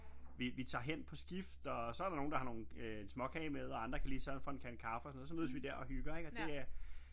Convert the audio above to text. Vi tager hen på skift og så der nogle der har nogle øh en småkage med og andre kan lige sørge for en kande kaffe og sådan noget og så mødes vi der og hygger og det øh